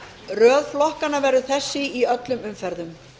röð flokkanna verður þessi í öllum umferðum